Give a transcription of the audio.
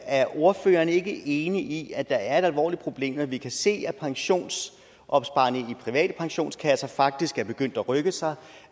er ordføreren ikke enig i at det er et alvorligt problem når vi kan se at pensionsopsparerne i de private pensionskasser faktisk er begyndt at rykke sig